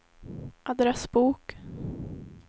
adressbok